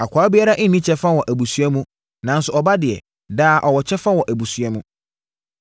Akoa biara nni kyɛfa wɔ abusua mu nanso ɔba deɛ, daa ɔwɔ kyɛfa wɔ abusua mu.